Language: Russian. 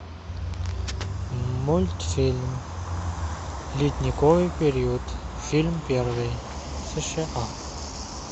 мультфильм ледниковый период фильм первый сша